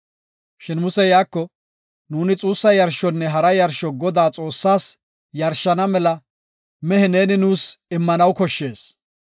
Shin Musey, “Nuuni xuussa yarshonne hara yarsho Godaa Xoossaas yarshana mela mehe neeni nuus immanaw koshshees.